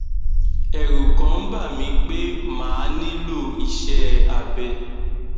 ẹrù kàn ń bà mí pé màá nílò iṣé abẹ